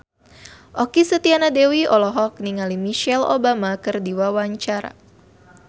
Okky Setiana Dewi olohok ningali Michelle Obama keur diwawancara